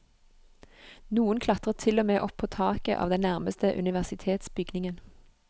Noen klatret til og med opp på taket av den nærmeste universitetsbygningen.